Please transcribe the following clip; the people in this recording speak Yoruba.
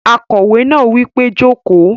Akòwé náà wí pé "jókòó!"